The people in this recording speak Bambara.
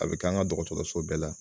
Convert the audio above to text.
A be kɛ an ka dɔgɔtɔrɔso bɛɛ la.